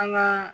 An ka